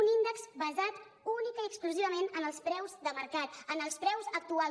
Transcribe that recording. un índex basat únicament i exclusivament en els preus de mercat en els preus actuals